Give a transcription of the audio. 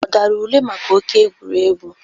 Ọ dara ule maka oke egwuregwu?